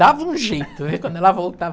Dava um jeito, né, quando ela voltava.